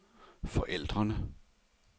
forældrene